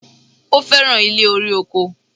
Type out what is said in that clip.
Ó fẹ̀ràn ilé-orí-oko.